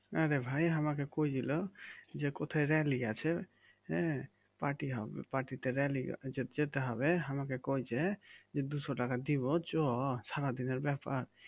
আরে ভাই আমাকে কয়েছিল যে কোথায় rally আছে হ্যাঁ পার্টি হবে পার্টিতে র‍্যালি যেতে হবে আমাকে কইছে যে দুশ টাকা দিব চ সারাদিনের ব্যাপার